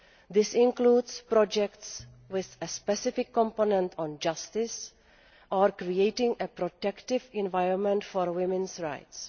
This includes projects with a specific component on justice or creating a protective environment for women's rights.